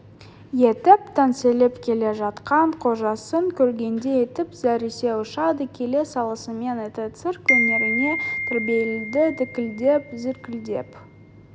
етіп теңселіп келе жатқан қожасын көргенде иттің зәресі ұшады келе салысымен итті цирк өнеріне тәрбиелейді дікілдеп зіркілдеп